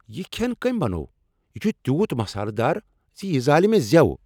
یہ کھین کٔمۍ بنوو؟ یہ چھ تیوت مسالہ دار زِ یہِ زالِہ مےٚ زِیو۔